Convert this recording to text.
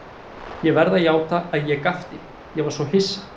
Ég verð að játa að ég gapti, ég var svo hissa.